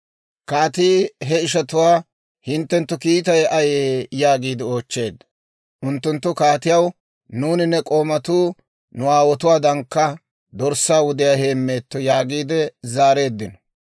Kaatii he ishatuwaa, «hinttenttu kiittay ayee?» yaagiide oochcheedda. Unttunttu kaatiyaw, «Nuuni ne k'oomatuu nu aawotuwaadankka dorssaa wudiyaa heemmeetto» yaagiide zaareeddino.